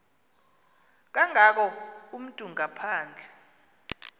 kangako umntu ngaphandle